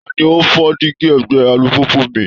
Ta ni ó fọ́ díígí ẹ̀gbẹ́ alùpùpù mi?